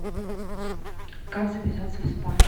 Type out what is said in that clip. как записаться в спа